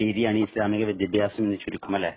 രീതിയാണ് ഈ ഇസ്ലാമിക വിദ്യാഭ്യാസം എന്ന് ചുരുക്കം അല്ലേ.